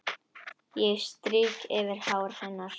Ég strýk yfir hár hennar.